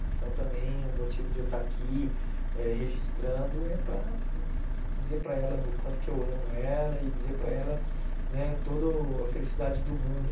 Então também o motivo de eu estar aqui é registrando é para dizer para ela o quanto que eu amo ela e dizer para ela né toda a felicidade do mundo.